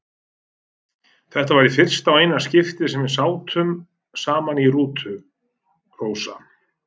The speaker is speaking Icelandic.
Þetta var í fyrsta og eina skiptið sem við sátum saman í rútu, Rósa.